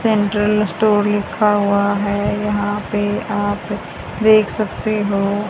central store लिखा हुआ है यहां पे आप देख सकते हो--